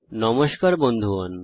নমস্কার বন্ধুগণ